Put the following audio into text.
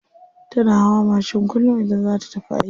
Tana hawa mashin kullum idan za ta tafi aiki.